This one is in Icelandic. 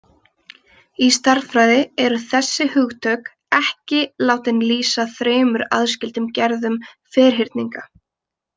Í stærðfræði eru þessi hugtök ekki látin lýsa þremur aðskildum gerðum ferhyrninga.